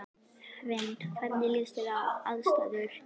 Hrund: Hvernig líst þér á aðstæður?